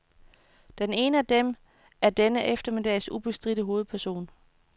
Den ene af dem er denne eftermiddags ubestridte hovedperson.